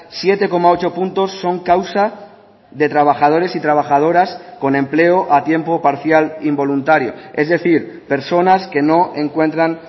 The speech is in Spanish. siete coma ocho puntos son causa de trabajadores y trabajadoras con empleo a tiempo parcial involuntario es decir personas que no encuentran